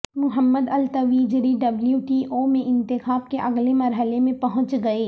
محمد Al Tuwaijri W T O میں انتخاب کے اگلے مرحلے میں پہنچ گئے